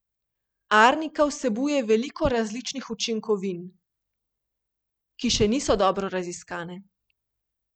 Arnika vsebuje veliko različnih učinkovin, ki še niso dobro raziskane.